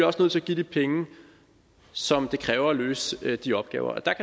også nødt til at give de penge som det kræver at løse de opgaver og der